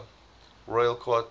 royal court theatre